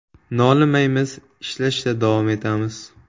Nolimaymiz, ishlashda davom etamiz.